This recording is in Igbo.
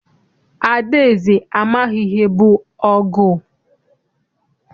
Adaeze amaghị ihe bụ ọgụ.